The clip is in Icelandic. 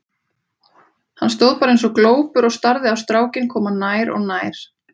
Hann stóð bara eins og glópur og starði á strákinn koma nær og nær.